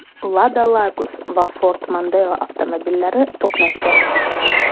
Lada-Largus va Ford Mondeo avtomobillari to‘qnashgan.